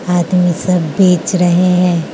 आदमी सब बेच रहे हैं।